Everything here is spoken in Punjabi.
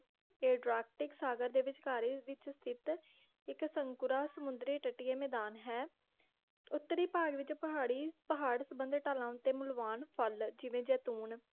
ਇਹ ਸਾਗਰ ਦੇ ਵਿਚਕਾਰੇ ਵਿਚ ਸਥਿਤ ਇਕ ਸੰਕੁੜਾ ਸਮੁੰਦਰੀ ਤੱਟੀਏ ਮੈਦਾਨ ਹੈ ਉੱਤਰੀ ਭਾਗ ਵਿਚ ਪਹਾੜੀ ਪਹਾੜ ਸੰਬੰਧਿਤ ਅਲਾਂਨ ਤੇ ਮੁਲਵਾਂਨ ਫਲ ਜਿਵੇ ਜੈਤੂਨ